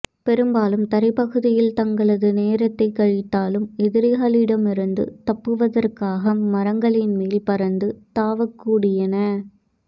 பெரும்பாலும் தரைப்பகுதியில் தங்களது நேரத்தைக் கழித்தாலும் எதிரிகளிடமிருந்து தப்புவதற்காக மரங்களின் மேல் பறந்து தாவக்கூடியன